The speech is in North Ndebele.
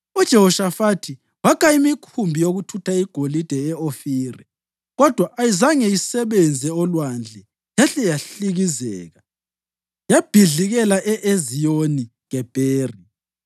UJehoshafathi wakha imikhumbi yokuthutha igolide e-Ofiri, kodwa ayizange isebenze olwandle, yahle yahlikizeka, yabhidlikela e-Eziyoni-Gebheri.